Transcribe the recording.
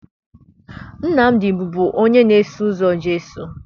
Nnamdị bụbu onye na-eso ụzọ Jesu